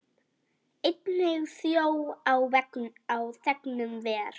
Einnig þjó á þegnum ver.